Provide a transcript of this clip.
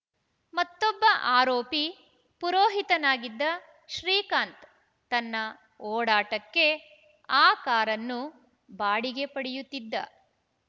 ಮತ್ತೊಬ್ಬ ಆರೋಪಿ ಪುರೋಹಿತನಾಗಿದ್ದ ಶ್ರೀಕಾಂತ್‌ ತನ್ನ ಓಡಾಟಕ್ಕೆ ಆ ಕಾರನ್ನು ಬಾಡಿಗೆ ಪಡೆಯುತ್ತಿದ್ದ